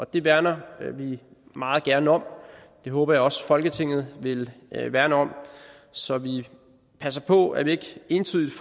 det værner vi meget gerne om og det håber jeg også folketinget vil værne om så vi passer på at vi ikke entydigt